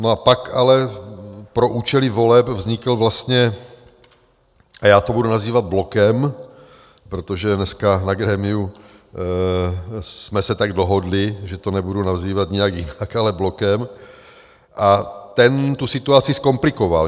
No a pak ale pro účely voleb vznikl vlastně - a já to budu nazývat blokem, protože dneska na grémiu jsme se tak dohodli, že to nebudu nazývat nějak jinak, ale blokem - a ten tu situaci zkomplikoval.